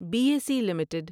be S E limited